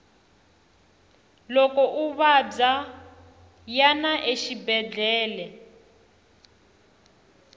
loko u vabya yana exibedele